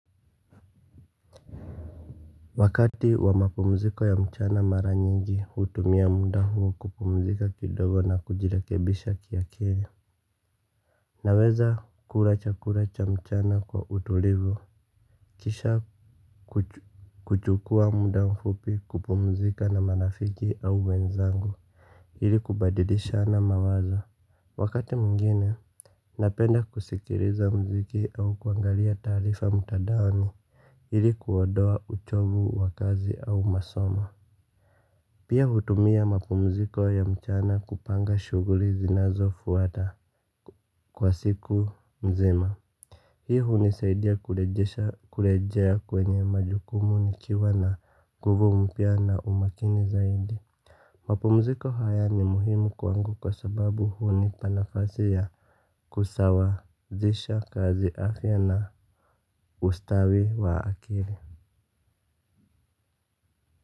Wakati wa mapumziko ya mchana mara nyingi, hutumia muda huu kupumzika kidogo na kujirekebisha kiakili. Naweza kula chakula cha mchana kwa utulivu. Kisha kuchukua muda mfupi kupumzika na marafiki au wenzangu, ili kubadilishana mawazo. Wakati mwingine, napenda kusikiliza muziki au kuangalia taarifa mtandaoni, ili kuodoa uchovu wa kazi au masomo. Pia hutumia mapumziko ya mchana kupanga shuguri zinazofuata kwa siku mzima. Hii hunisaidia kurejea kwenye majukumu nikiwa na nguvu mpya na umakini zaidi. Mapumziko haya ni muhimu kwangu kwa sababu hunipa nafasi ya kusawazisha kazi afya na ustawi wa akili.